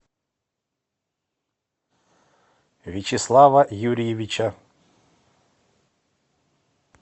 вячеслава юрьевича